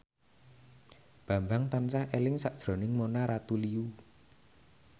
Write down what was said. Bambang tansah eling sakjroning Mona Ratuliu